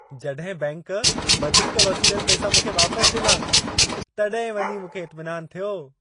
जॾहिं बैंकि वधीक वसूलियल पैसा, मूंखे वापसि ॾिना, तॾहिं वञी मूंखे इतमिनानु थियो।